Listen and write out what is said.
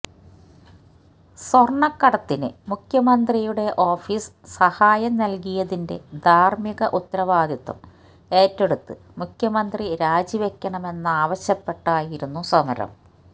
സ്വർണക്കടത്തിന് മുഖ്യമന്ത്രിയുടെ ഓഫീസ് സഹായം നൽകിയതിന്റെ ധാർമിക ഉത്തരവാദിത്വം ഏറ്റെടുത്ത് മുഖ്യമന്ത്രി രാജിവെക്കണമെന്നാവശ്യപ്പെട്ടായിരുന്നു സമരം